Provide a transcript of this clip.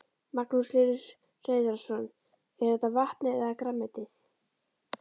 Magnús Hlynur Hreiðarsson: Er þetta vatnið eða grænmetið?